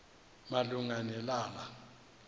malunga ne lala